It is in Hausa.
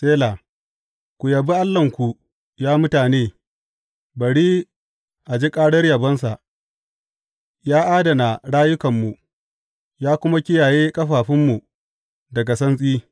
Sela Ku yabi Allahnku, ya mutane, bari a ji ƙarar yabonsa; ya adana rayukanmu ya kuma kiyaye ƙafafunmu daga santsi.